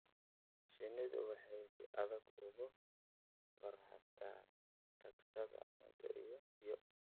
Shinnidu waya si adag uga varhstaa taksana cunto iyo biyo.